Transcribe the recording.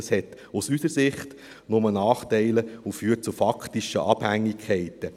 Dies hat aus unserer Sicht nur Nachteile und führt zu faktischen Abhängigkeiten.